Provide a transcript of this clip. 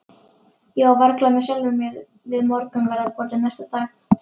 Ég var varla með sjálfri mér við morgunverðarborðið næsta dag.